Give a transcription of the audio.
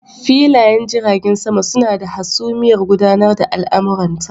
Filayen jiragen sama suna da hasumiyar gudanar da al'amuranta.